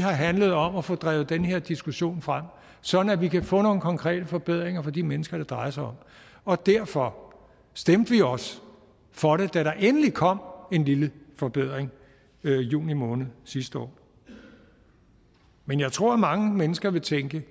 har handlet om at få drevet den her diskussion frem sådan at vi kan få nogle konkrete forbedringer for de mennesker det drejer sig om og derfor stemte vi også for det da der endelig kom en lille forbedring i juni måned sidste år men jeg tror mange mennesker vil tænke at